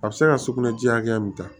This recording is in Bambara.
A bɛ se ka sugunɛ ji hakɛ min ta